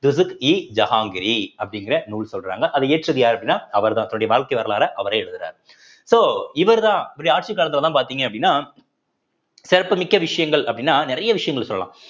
ஜஹாங்கரி அப்படிங்கிற நூல் சொல்றாங்க அதை இயற்றது யாரு அப்படின்னா அவர்தான் தன்னுடைய வாழ்க்கை வரலாறை அவரே எழுதுறார் so இவர்தான் இவருடைய ஆட்சி காலத்துலதான் பார்த்தீங்க அப்படின்னா சிறப்புமிக்க விஷயங்கள் அப்படின்னா நிறைய விஷயங்கள் சொல்லலாம்